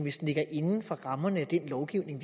inden for rammerne af den lovgivning